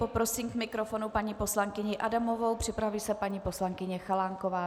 Poprosím k mikrofonu paní poslankyni Adamovou, připraví se paní poslankyně Chalánková.